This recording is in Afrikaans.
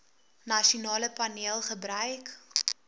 nasionale paneel gebruik